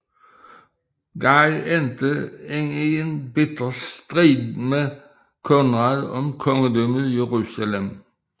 Guy endte ind i en bitter strid med Konrad om Kongedømmet Jerusalem